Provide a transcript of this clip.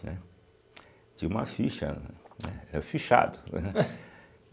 Né, tinha uma ficha, né, era fichado.